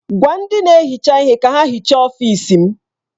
Gwa ndị na-ehicha ihe ka ha hichaa ọfịs m!